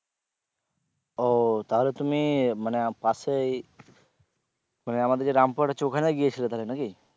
ও তাহলে তুমি মানে পাশেই মানে আমাদের যে রামপুরহাট আছে ওখানে গিয়েছিলে তাহলে নাকি?